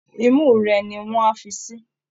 Imú rẹ ni wọ́n á fi sí